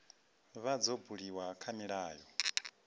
vha dzo buliwa kha milayo